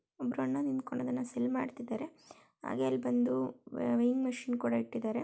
ಒಬ್ಬರು ಅಣ್ಣ ನಿಂತ್ಕೊಂಡು ಇದನ್ನ ಸೇಲ್ ಮಾಡ್ತಿದ್ದಾರೆ ಹಾಗೆ ಅಲ್ಲಿ ಬಂದು ವೇಯಿಂಗ್ ಮಷೀನ್ ಕೂಡ ಇಟ್ಟಿದ್ದಾರೆ --